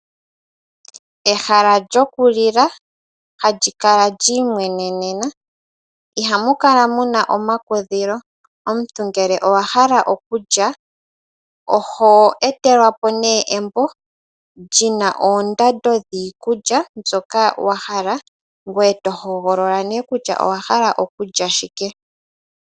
Ehala lyokulila, hali kala liimwenenena , ihamu kala muna omakudhilo . Omuntu ngele owahala okulya oho etelwa po embo lyina oondando dhiikulya mbyoka wahala, ngoye tohogolola okulya owala shike.